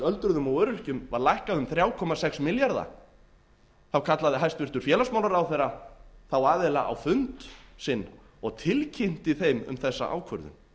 öldruðum og öryrkjum var lækkað um þrjú komma sex milljarð þá kallaði hæstvirts félagsmálaráðherra þá aðila á fund sinn og tilkynnti þeim um þessa ákvörðun þetta er